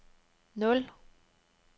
nul